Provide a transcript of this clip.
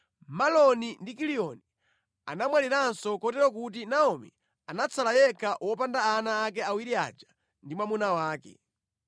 Maloni ndi Kiliyoni anamwaliranso kotero kuti Naomi anatsala yekha wopanda ana ake awiri aja ndi mwamuna wake.